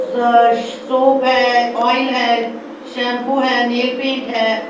Soup है oil है shampoo है नील पेंट है।